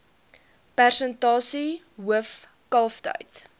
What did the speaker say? persentasie hoof kalftyd